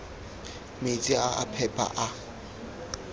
metsi a a phepa a